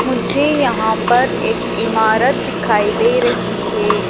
मुझे यहां पर एक इमारत दिखाई दे रही हैं।